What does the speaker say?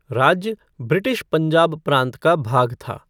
राज्य ब्रिटिश पंजाब प्रांत का भाग था।